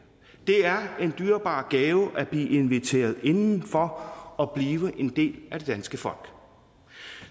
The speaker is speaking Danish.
er en dyrebar gave at blive inviteret indenfor og blive en del af det danske folk